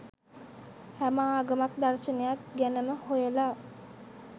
හැම ආගමක් දර්ශනයක් ගැනමහොයල